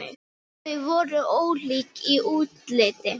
Þau voru ólík í útliti.